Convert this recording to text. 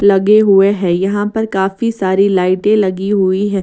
लगे हुए हैं यहां पर काफी सारी लाइटें लगी हुई हैं।